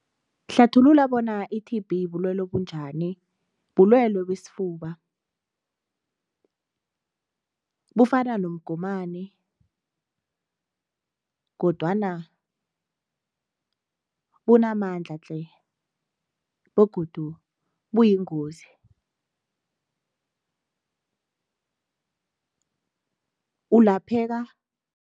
Hlathulula bona i-T_B bulelwe obunjani? Bulwelwe besifuba, bufana nomgomani kodwana bunamandla tle begodu buyingozi ulapheka